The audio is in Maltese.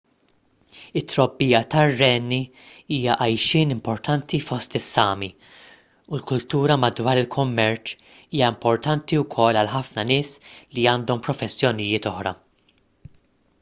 it-trobbija tar-renni hija għajxien importanti fost is-sámi u l-kultura madwar il-kummerċ hija importanti wkoll għal ħafna nies li għandhom professjonijiet oħra